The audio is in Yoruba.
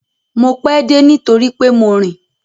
Mo pẹ́ dé nítorí pé mo rìn.